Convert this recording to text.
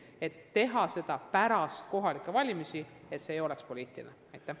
Konkurss otsustati teha pärast kohalikke valimisi, et see ei oleks poliitiline protsess.